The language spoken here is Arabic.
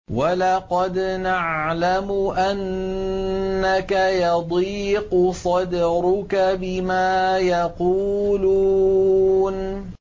وَلَقَدْ نَعْلَمُ أَنَّكَ يَضِيقُ صَدْرُكَ بِمَا يَقُولُونَ